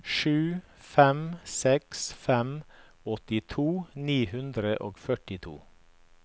sju fem seks fem åttito ni hundre og førtito